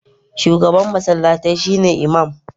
shugaban masallatai shine Iman